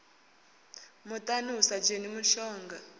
muḽani hu sa dzheni mushonga